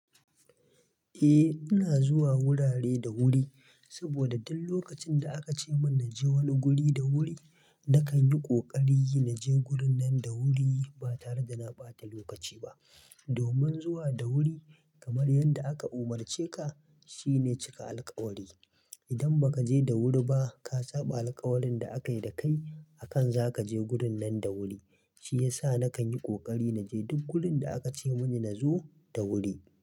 Eh, ina zuwa wurare da wuri saboda duk lokacin da aka ce min na je wani guri da wuri. Nakan yi kokari naje wurin nan da wuri ba tare da na ɓata lokaci ba. Domin zuwa da wuri kamar yadda aka umarce ka shine cika alƙawari. Idan ba ka je da wuri ba, ka saɓa alƙawarin da aka yi da kai akan za ka je gurin nan da wuri. Shi ya sa nakan yi ƙoƙari na je duk gurin da aka ce mun na zo da wuri.